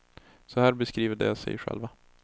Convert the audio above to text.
Så här beskriver de sig själva.